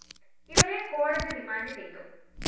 ഇവരെ കോടതി റിമാൻഡ്‌ ചെയ്തു